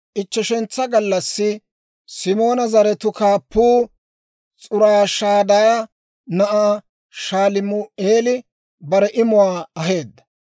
Ichcheshantsa gallassi Simoona zaratuu kaappuu, S'uriishadaaya na'ay Shalumi'eeli bare imuwaa aheedda.